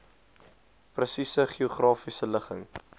presiese geografiese ligging